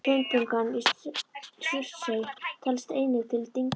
Hraunbungan í Surtsey telst einnig til dyngna.